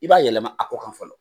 I b'a yɛlɛma a ko kan fɔlɔ.